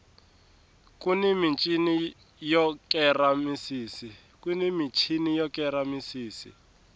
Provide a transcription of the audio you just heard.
kuni michini yo kera misisi